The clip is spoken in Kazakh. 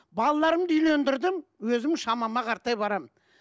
балаларымды үйлендірдім өзім шамама қаратай барамын